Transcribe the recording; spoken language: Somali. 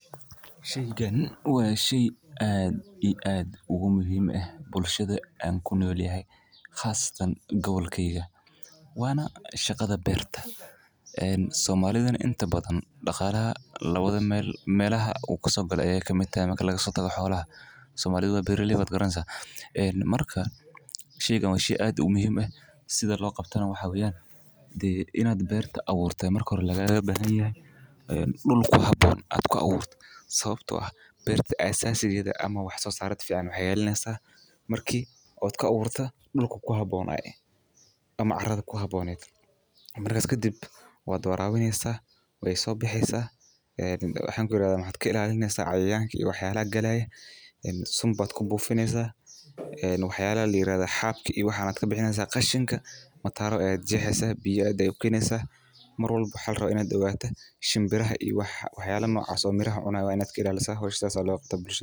Waa shay muhiim u ah bulshada, gaar ahaan dadka ku nool gobolka aan deganahay. Waa shaqada beerta. Soomaalida inta badan dhaqaalaha labada meel ka soo gala, ka mid tahay beeralayda. Marka laga soo tago xoolaha, Soomaalidu waa beeraley. Sida loo qabto beertu waxay u baahan tahay abuurid iyo dhul ku habboon. Sababta aasaasigeedu waa in marka aad ku abuurayso, dhul ku habboon ama carro ku habboon aad doorato. Waxaad ilaalinaysaa cayayaanka, suun ku buufinaysaa, xaabada iyo qashinka ka bixineysaa. (Mataro) u jeexaysaa, biyo u keenaysaa, shimbirahana ilaalinaysaa. Saa ayaa loo qabtaa howsha.